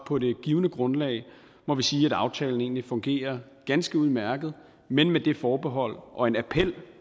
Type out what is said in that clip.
på det givne grundlag sige at aftalen egentlig fungerer ganske udmærket men med det forbehold og en appel